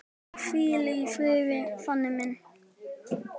Hvíl í friði, Fanný mín.